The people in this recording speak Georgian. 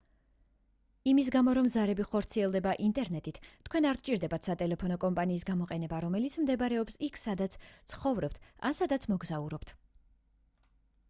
იმის გამო რომ ზარები ხორციელდება ინტერნეტით თქვენ არ გჭირდებათ სატელეფონო კომპანიის გამოყენება რომელიც მდებარეობს იქ სადაც ცხოვრობთ ან სადაც მოგზაურობთ